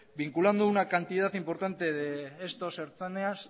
vinculando una cantidad importante de estos ertzainas